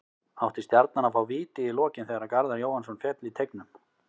Átti Stjarnan að fá víti í lokin þegar Garðar Jóhannsson féll í teignum?